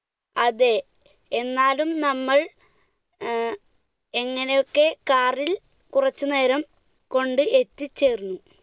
അതെ, എന്നാലും നമ്മൾ ഏർ എങ്ങനെയൊക്കെയോ car ൽ കുറച്ച് സമയം കൊണ്ട് എത്തിച്ചേർന്നു.